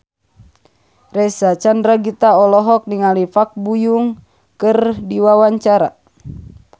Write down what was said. Reysa Chandragitta olohok ningali Park Bo Yung keur diwawancara